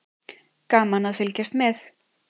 Gaman að fylgjast með.